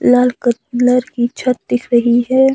लाल colour की छत दिख रही है।